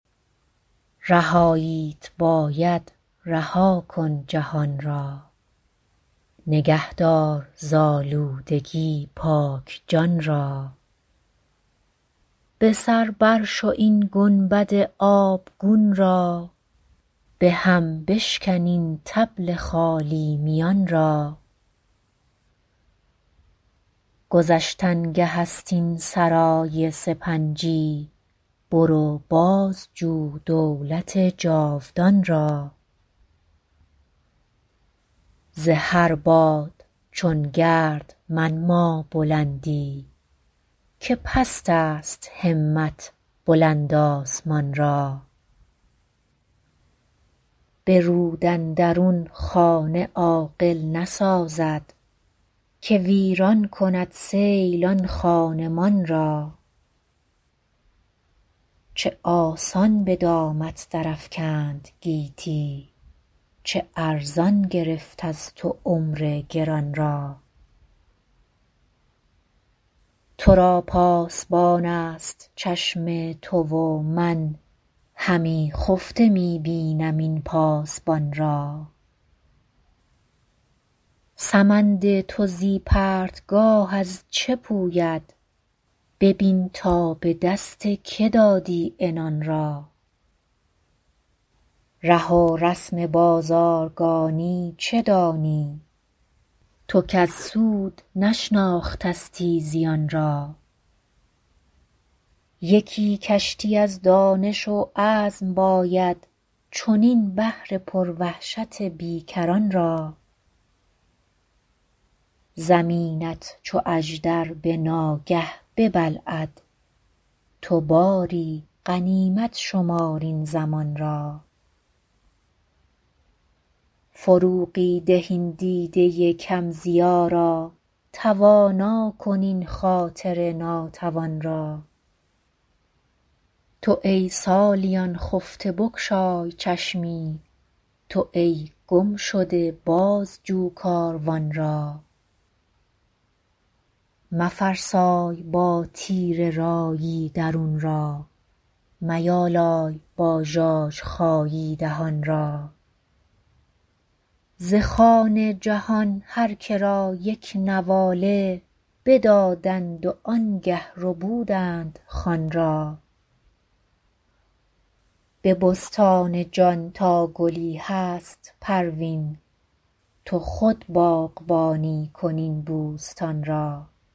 رهاییت باید رها کن جهان را نگه دار ز آلودگی پاک جان را به سر برشو این گنبد آبگون را به هم بشکن این طبل خالی میان را گذشتنگه است این سرای سپنجی برو بازجو دولت جاودان را ز هر باد چون گرد منما بلندی که پست است همت بلند آسمان را به رود اندرون خانه عاقل نسازد که ویران کند سیل آن خانمان را چه آسان به دامت درافکند گیتی چه ارزان گرفت از تو عمر گران را ترا پاسبان است چشم تو و من همی خفته می بینم این پاسبان را سمند تو زی پرتگاه از چه پوید ببین تا به دست که دادی عنان را ره و رسم بازارگانی چه دانی تو کز سود نشناختستی زیان را یکی کشتی از دانش و عزم باید چنین بحر پروحشت بیکران را زمینت چو اژدر به ناگه ببلعد تو باری غنیمت شمار این زمان را فروغی ده این دیده کم ضیا را توانا کن این خاطر ناتوان را تو ای سالیان خفته بگشای چشمی تو ای گمشده بازجو کاروان را مفرسای با تیره رایی درون را میالای با ژاژخایی دهان را ز خوان جهان هرکه را یک نواله بدادند و آنگه ربودند خوان را به بستان جان تا گلی هست پروین تو خود باغبانی کن این بوستان را